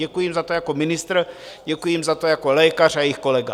Děkuji jim za to jako ministr, děkuji jim za to jako lékař a jejich kolega.